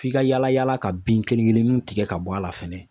F'i ka yala yala ka bin kelen kelennunw tigɛ ka bɔ a la fɛnɛ